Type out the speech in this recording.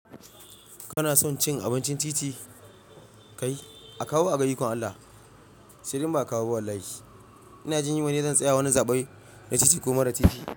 Kana son cin abincin titi? Kai a kawo a gayukon Allah. Shirin ba a kawo ba wallahi. Ina jin yi bane zan tsaya wani zaɓi na titi ko mara titi.